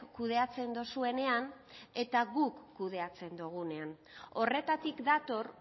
kudeatzen duzuenean eta guk kudeatzen dugunean horretatik dator